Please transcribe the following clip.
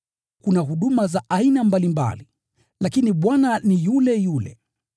Kuna huduma za aina mbalimbali, lakini Bwana ni yule yule.